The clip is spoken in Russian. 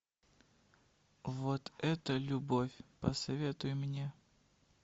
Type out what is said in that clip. вот это любовь посоветуй мне